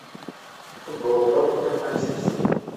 футбол тоттенхэм манчестер